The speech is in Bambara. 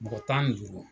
Mɔgɔ tan ni duuru